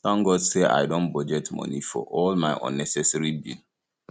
thank god say i don budget money for all my unnecessary bill